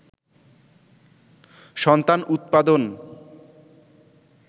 সন্তান উৎপাদন